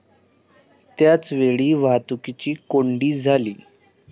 त्याचवेळी वाहतुकीची कोंडी झाली.